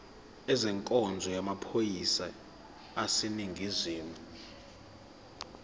ezenkonzo yamaphoyisa aseningizimu